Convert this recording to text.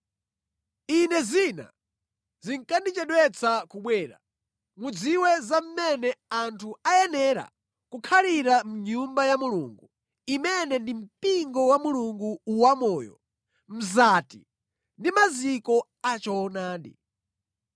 Ine zina zikandichedwetsa kubwera, mudziwe za mmene anthu ayenera kukhalira mʼNyumba ya Mulungu, imene ndi mpingo wa Mulungu wamoyo, mzati ndi maziko achoonadi.